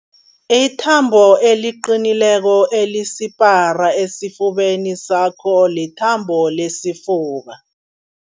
Ithambo eliqinileko elisipara esifubeni sakho lithambo lesifuba.